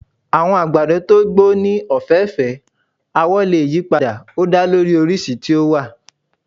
Àwọ̀ àgbàdo to gbó ní ọ̀fẹ́fẹ̀ẹ́, awọ lè yí padà, ó da lórí oríṣi tí ó wà.